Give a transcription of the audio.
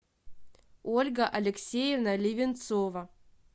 ольга алексеевна ливенцова